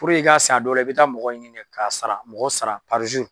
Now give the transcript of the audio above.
i ka sen a dɔw la i bɛ taa mɔgɔ ɲini de k'a sara mɔgɔ sara